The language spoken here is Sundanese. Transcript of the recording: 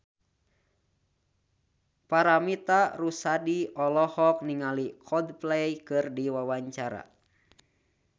Paramitha Rusady olohok ningali Coldplay keur diwawancara